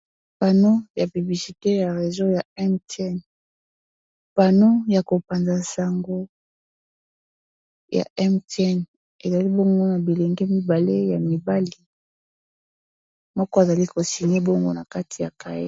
Paneau ya publicité réseau ya Mtn, paneau ya ko panza sango ya Mtn, ezali bongo na bilenge mibale, ya mibali moko azali ko signer bongo na kati ya cahier.